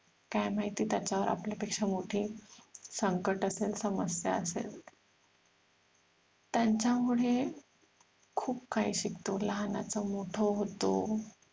काय माहिती त्याच्यावर आपल्या पेक्षा मोठी संकट असेल समजत असेल त्यांच्यामुळे खूप काही शिकतो लहानाच मोठं होतो